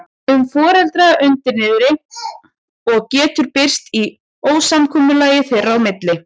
um foreldrana undir niðri og það getur birst í ósamkomulagi þeirra í milli.